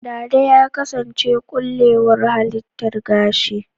Dada ya kasance ƙullewar halittar gashi.